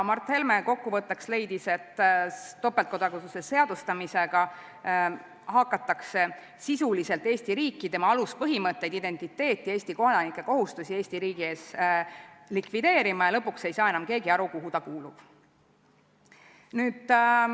Mart Helme leidis kokkuvõtteks, et topeltkodakondsuse seadustamisega hakatakse sisuliselt Eesti riiki, tema aluspõhimõtteid, identiteeti, Eesti kodanike kohustusi Eesti riigi ees likvideerima ja lõpuks ei saa enam keegi aru, kuhu ta kuulub.